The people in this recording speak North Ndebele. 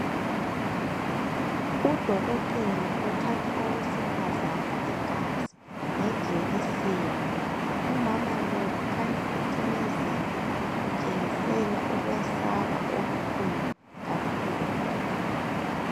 Udokotela uthatha owesifazana igazi ngejekiseni, umama lo ukhanya ucimezile uthengisela ukwesaba okukhulu kakhulu.